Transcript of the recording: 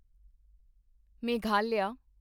Meghalaya